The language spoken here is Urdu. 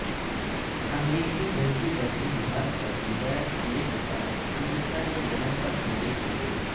امریکی جنگی بحری جہاز پر میزائل حملے کے بعد امریکہ نے یمن پر حملے کئے